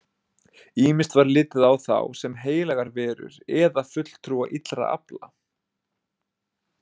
Ýmist var litið á þá sem heilagar verur eða fulltrúa illra afla.